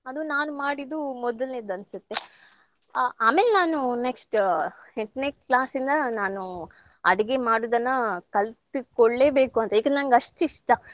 ಅದು ನಾನ್ ಮಾಡಿದ್ದು ಮೊದ್ಲ್ನೇದು ಅನ್ಸತ್ತೆ. ಆ~ ಆಮೇಲ್ ನಾನು next ಎಂಟ್ನೆ class ಯಿಂದ ನಾನು ಅಡಿಗೆ ಮಾಡುದನ್ನ ಕಲ್ತ್ಕೊಳ್ಳೇಬೇಕು ಅಂತ ಏಕಂದ್ರೆ ನಂಗ್ ಅಷ್ಟ್ ಇಷ್ಟ.